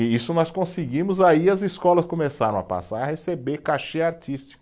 E isso nós conseguimos, aí as escolas começaram a passar a receber cachê artístico.